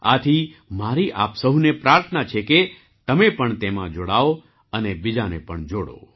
આથી મારી આપ સહુને પ્રાર્થના છે કે તમે પણ તેમાં જોડાવ અને બીજાને પણ જોડો